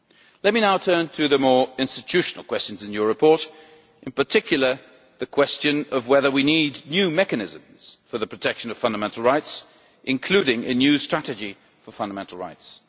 Let me now turn to the more institutional questions in your report, in particular the question of whether we need new mechanisms for the protection of fundamental rights, including a new strategy for fundamental rights.